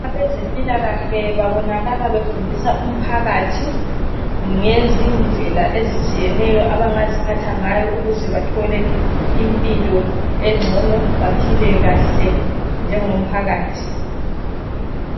Abezempilakahle babonakala befundisa umphakathi ngezidlela ezitshiyeneyo abangaziphatha ngayo ukuze bathole impilo engcono bephile kahle njengomphakathi.